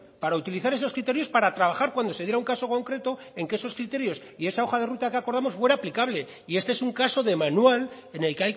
para utilizar esos criterios para trabajar cuando se diera un caso concreto en que esos criterios y esa hoja de ruta que acordamos fuera aplicable y este es un caso de manual en el